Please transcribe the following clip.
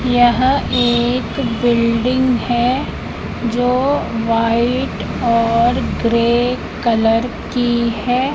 यह एक बिल्डिंग है जो व्हाइट और ग्रे कलर की है।